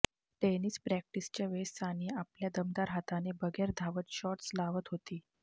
tennis प्रॅक्टिसच्या वेळेस सानिया आपल्या दमदार हाताने बगैर धावत शॉट्स लावत होती